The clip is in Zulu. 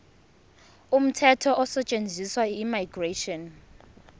umthetho osetshenziswayo immigration